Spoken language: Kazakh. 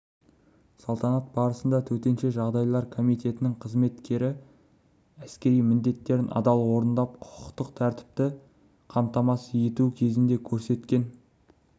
салтанат барысында төтенше жағдайлар комитетінің қызметкері әскери міндеттерін адал орындап құқықтық тәртіпті қамтамасыз ету кезінде көрсеткен